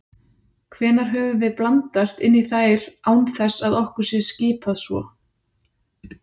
Hvenær höfum við blandast inn í þær án þess að okkur sé skipað svo?